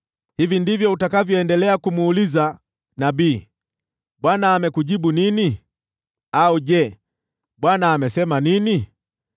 Hivi ndivyo utakavyoendelea kumuuliza nabii: ‘ Bwana amekujibu nini?’ au ‘Je, Bwana amesema nini?’